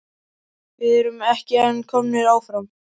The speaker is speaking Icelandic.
Við erum ekki en komnir áfram?